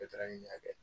Bɛɛ taara n'a y'a kɛ